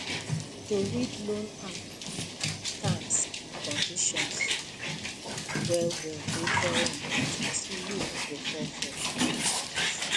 to read loan app terms and conditions well well dey very important so you no go fall for hidden charges